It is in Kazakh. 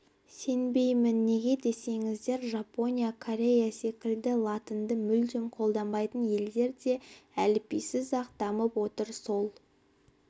сенбеймін неге десеңіздер жапония корея секілді латынды мүлдем қолданбайтын елдер де әліпбисіз-ақ дамып отыр сол